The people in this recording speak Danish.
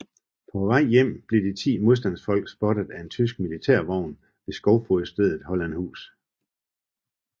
På vej hjem blev de ti modstandsfolk spottet af en tysk militærvogn ved skovfogedstedet Hollandshus